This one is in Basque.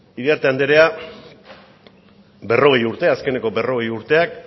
iriarte anderea berrogei urte azkeneko berrogei urteak